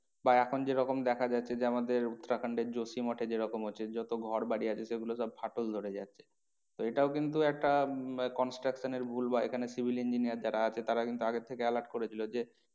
বা এখন যেরকম দেখা যাচ্ছে যে আমাদের উত্তরাখণ্ডের যেরকম হচ্ছে যত ঘর বাড়ি আছে সেগুলো সব ফাটল ধরে যাচ্ছে তো এটাও কিন্তু একটা উম construction এর ভুল বা এখানে civil engineer যারা আছে তারা কিন্তু আগে থেকে alert করেছিল যে।